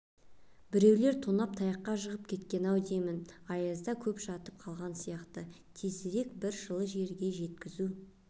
біреулер тонап таяққа жығып кеткен-ау деймін аязда көп жатып қалған сияқты тезірек бір жылы жерге жеткізу